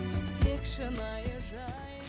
тек шынайы